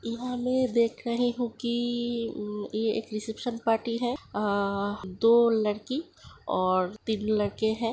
यहाँं मैं देख रही हु कि रिसेप्शन पार्टी है और दो लड़की और तीन लड़के हैं।